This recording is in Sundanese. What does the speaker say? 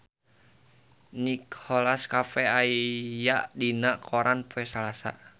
Nicholas Cafe aya dina koran poe Salasa